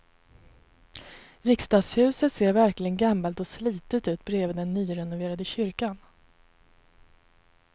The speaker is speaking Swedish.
Riksdagshuset ser verkligen gammalt och slitet ut bredvid den nyrenoverade kyrkan.